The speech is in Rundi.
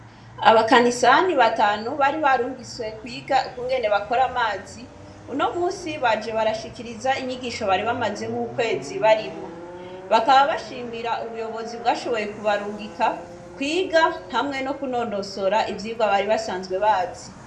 Abakanisani batanu bari barungiswe kwiga kungene bakora amazi uno musi baje barashikiriza inyigisho bari bamazemwo ukwezi barimwo bakaba bashimira ubuyobozi bwashoboye kubarungika kwiga hamwe no kunonosora ivyirwa bari basanzwe bazi.